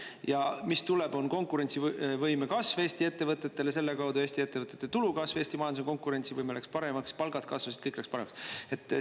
Ja mis tuleb, on konkurentsivõime kasv Eesti ettevõtetele, selle kaudu Eesti ettevõtete tulu kasv, Eesti majanduse konkurentsivõime läks paremaks, palgad kasvasid, kõik läks paremaks.